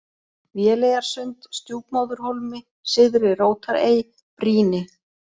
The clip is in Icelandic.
Véleyjarsund, Stjúpmóðurhólmi, Syðri-Rótarey, Brýni